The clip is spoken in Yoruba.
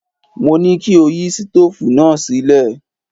Mo ní kí o yí sítóòfù náà sílẹ̀!